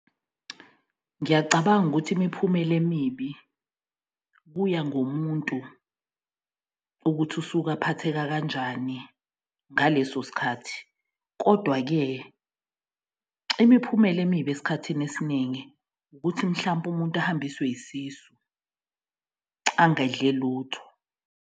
Ngiyacabanga ukuthi imiphumela emibi kuya ngomuntu ukuthi usuka phatheka kanjani ngaleso sikhathi. Kodwa-ke imiphumela emibi esikhathini esiningi ukuthi mhlampe umuntu ahambiswe isisu, angedle lutho.